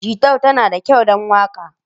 Gitar tana da kyau don waka?